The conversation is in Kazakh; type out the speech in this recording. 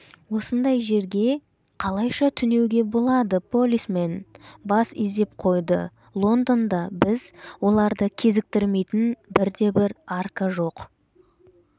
осындай жерге қалайша түнеуге болады полисмен бас изеп қойды лондонда біз оларды кезіктірмейтін бірде-бір арка жоқ